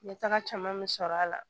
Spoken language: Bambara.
Ɲɛ taga caman be sɔrɔ a la